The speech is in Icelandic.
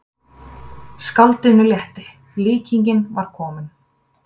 Skáldinu létti, líkingin var komin.